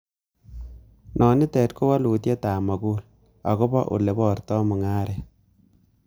Nonitet ko wolutietab mogul ,agobo ele borto mung'aret.